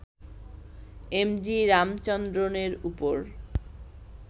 M G রামচন্দ্রনের ওপর